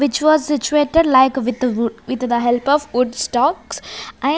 which was situated like with wo with the help of wood stocks and --